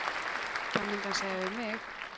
Það myndi hann segja við mig.